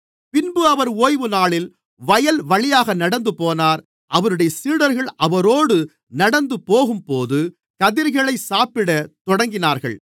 பின்பு அவர் ஓய்வுநாளில் வயல்வழியாக நடந்துபோனார் அவருடைய சீடர்கள் அவரோடு நடந்துபோகும்போது கதிர்களைச் சாப்பிட தொடங்கினார்கள்